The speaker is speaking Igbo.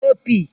opi